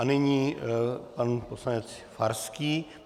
A nyní pan poslanec Farský.